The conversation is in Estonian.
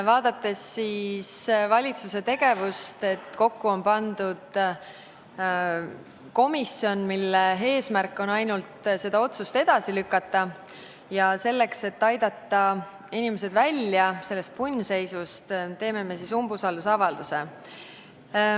Vaadates valitsuse tegevust – kokku on pandud komisjon, mille eesmärk on ainult seda otsust edasi lükata –, siis selleks, et aidata inimesed sellest punnseisust välja, esitame me umbusaldusavalduse.